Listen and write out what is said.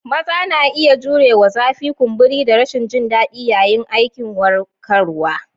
Maza na iya jurewa zafi, kumburi, da rashin jin daɗi yayin aikin warkarwa.